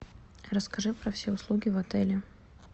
расскажи про все услуги в отеле